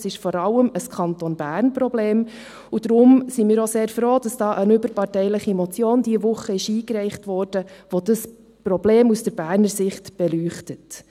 Es ist vor allem ein Problem des Kantons Bern, und deshalb sind wir auch sehr froh, dass diese Woche eine überparteiliche Motion dazu eingereicht wurde, die dieses Problem aus Berner Sicht beleuchtet.